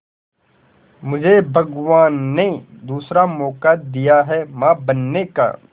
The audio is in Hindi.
मुझे भगवान ने दूसरा मौका दिया है मां बनने का